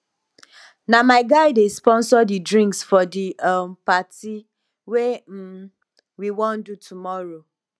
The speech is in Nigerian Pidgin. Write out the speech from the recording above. na my guy dey sponsor di drinks for di um party wey um we wan do tomorrow